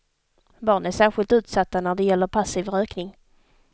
Barn är särskilt utsatta när det gäller passiv rökning.